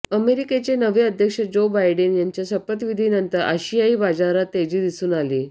अमेरिकेचे नवे अध्यक्ष जो बायडेन यांच्या शपथविधीनंतर आशियाई बाजारात तेजी दिसून आली